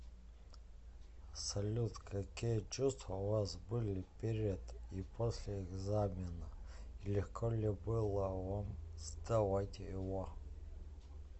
салют какие чувства у вас были перед и после экзамена и легко ли было вам сдавать его